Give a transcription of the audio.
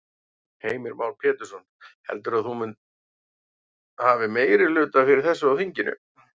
Heimir Már Pétursson: Heldurðu að þú hafi meirihluta fyrir þessu í þinginu?